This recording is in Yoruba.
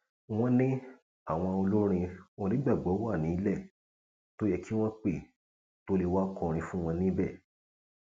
wọn ní àwọn olórin onígbàgbọ wà nílẹ tó yẹ kí wọn pẹ tó lè wàá kọrin fún wọn níbẹ